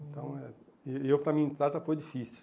Então, é e eu para mim, entrar já foi difícil.